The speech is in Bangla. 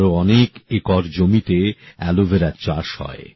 আরো অনেক একর জমিতে অ্যালোভেরার চাষ হয়